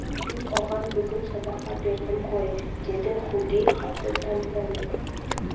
мен оған бүгін садақа бердім ғой деді хуги қатты таңданып